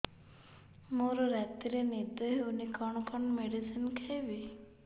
ମୋର ରାତିରେ ନିଦ ହଉନି କଣ କଣ ମେଡିସିନ ଖାଇବି